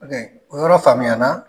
o yɔrɔ faamuya na.